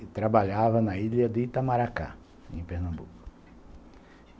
E trabalhava na ilha de Itamaracá, em Pernambuco.